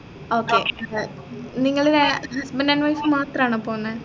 okay ഏർ നിങ്ങള് husband and wife മാത്രാണോ പോന്നെ